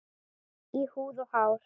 Í húð og hár.